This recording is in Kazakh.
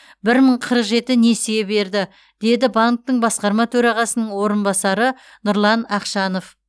бір мың қырық жеті несие берді деді банктің басқарма төрағасының орынбасары нұрлан ақшанов